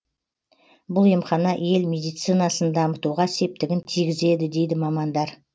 бұл емхана ел медицинасын дамытуға септігін тигізеді дейді мамандар